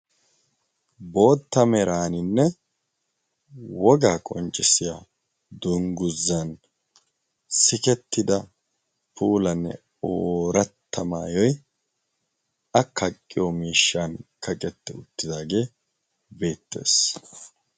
Bootta meraaninne wogaa qonccissiya dungguzzan sikettida puolanne ooratta maayoyi a kaaqqiyo miishshan kaqette uttidaagee beettees.